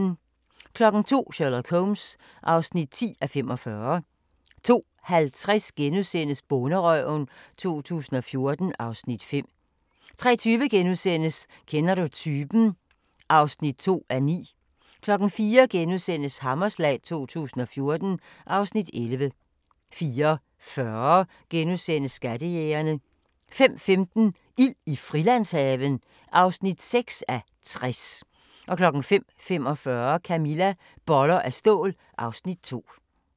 02:00: Sherlock Holmes (10:45) 02:50: Bonderøven 2014 (Afs. 5)* 03:20: Kender du typen? (2:9)* 04:00: Hammerslag 2014 (Afs. 11)* 04:40: Skattejægerne * 05:15: Ild i Frilandshaven (6:60) 05:45: Camilla – Boller af stål (Afs. 2)